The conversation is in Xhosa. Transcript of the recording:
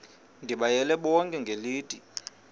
ndibayale bonke ngelithi